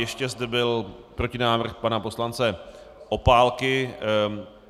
Ještě zde byl protinávrh pana poslance Opálky.